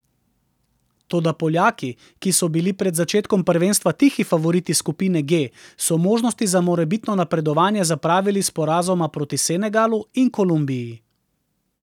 Toda Poljaki, ki so bili pred začetkom prvenstva tihi favoriti skupine G, so možnosti za morebitno napredovanje zapravili s porazoma proti Senegalu in Kolumbiji.